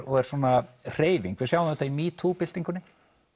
og er svona hreyfing og við sjáum þetta í metoo byltingunni